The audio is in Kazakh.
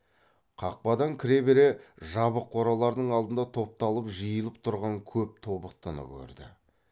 қақпадан кіре бере жабық қоралардың алдында топталып жиылып тұрған көп тобықтыны көрді